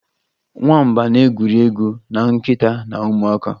Nwamba na-egwuri egwu na nkịta na ụmụaka.